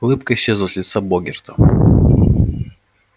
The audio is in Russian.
улыбка исчезла с лица богерта